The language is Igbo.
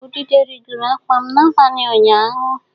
Udide rigoro akwa m n'abalị ụnyaahụ.